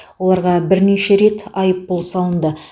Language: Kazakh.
оларға бірнеше рет айыппұл салынды